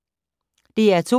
DR2